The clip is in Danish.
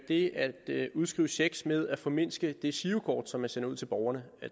det at udskrive checks med at formindske det girokort som man sender ud til borgerne